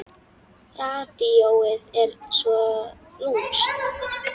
Radíóið er svo lúmskt.